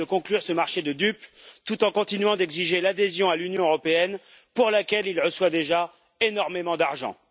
Erdogan de conclure ce marché de dupes, tout en continuant d'exiger l'adhésion à l'Union européenne, pour laquelle il reçoit déjà énormément d'argent.